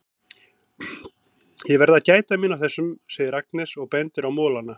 Ég verð að gæta mín á þessum, segir Agnes og bendir á molana.